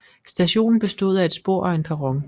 Stationen bestod af et spor og en perron